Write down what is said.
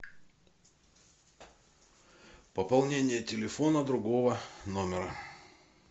пополнение телефона другого номера